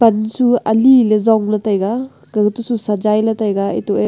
aliley Jongley taiga kawtosu sazailey ley taiga eto e--